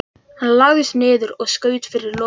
Hann lagðist niður og skaut fyrir loku.